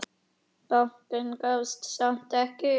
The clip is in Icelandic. Bankinn gafst samt ekki upp.